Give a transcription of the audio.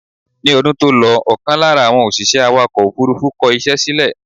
Ni ọdún tó lọ ọkàn lára àwọn òṣìṣẹ́ awàkọ̀ òfúrúfú kọ ìṣe sílè